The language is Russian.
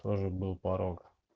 тоже был порог